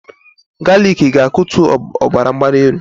Galik ga-akutu ọbara mgbali elu